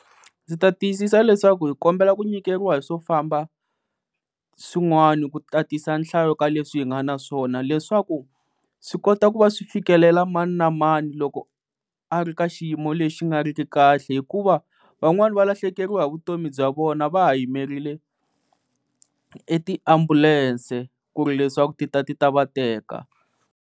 Ndzi ta tiyisisa leswaku hi kombela ku nyikeriwa hi swo famba swin'wani ku tatisa nhlayo ka leswi hi nga na swona leswaku swi kota ku va swi fikelela mani na mani loko a ri ka xiyimo lexi xi nga ri ki kahle hikuva van'wana va lahlekeriwa hi vutomi bya vona va ha yimerile e tiambulense ku ri leswaku ti ta ti ta va teka.